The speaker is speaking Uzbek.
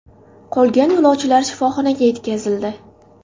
Qolgan yo‘lovchilar shifoxonaga yetkazildi.